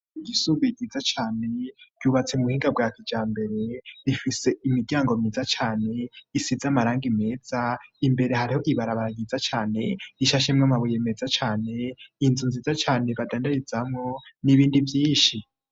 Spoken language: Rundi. Ishure ryisumbuye giza cane zubatse mu buhinga bwatuja mbere risitse amabara ameza cane isakaje amabati akomeye imbere yaro ikibuga ciza kirimo amashurwe utwazi ruto duto na tunini hamwe n'ibiti birebire.